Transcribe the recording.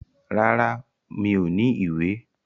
Rárá, mi ò ní ìwé.